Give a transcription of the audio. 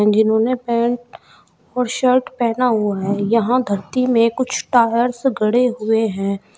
जिन्होंने पैंट और शर्ट पहना हुआ है यहां धरती में कुछ टायर्स गड़े हुए हैं।